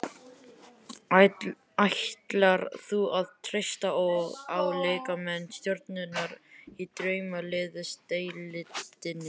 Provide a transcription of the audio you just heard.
Ætlar þú að treysta á leikmenn stjörnunnar í Draumaliðsdeildinni?